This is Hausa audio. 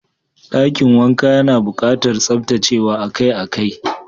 Dakin wankan yana bukatar tsaftacewa akai-akai.